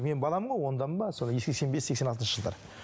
мен баламын ғой ондамын ба сол сексен бес сексен алтыншы жылдары